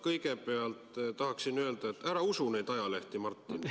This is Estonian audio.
Kõigepealt tahaksin öelda, et ära usu neid ajalehti, Martin.